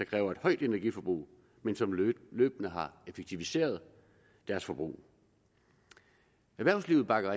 kræver et højt energiforbrug men som løbende har effektiviseret deres forbrug erhvervslivet bakker